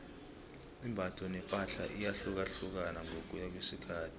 imbatho nepahla iyahlukahlukana ngokuya ngokwesikhathi